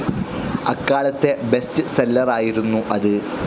അക്കാലത്തെ best seller ആയിരുന്നു അത്.